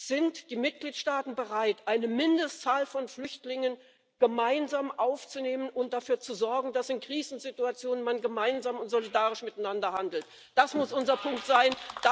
Sind die Mitgliedsstaaten bereit, eine Mindestzahl von Flüchtlingen gemeinsam aufzunehmen und dafür zu sorgen, dass man in Krisensituationen gemeinsam und solidarisch miteinander handelt? Das muss unser Punkt sein!